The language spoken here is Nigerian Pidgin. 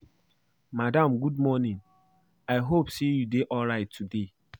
Madam good morning. I hope say you dey alright today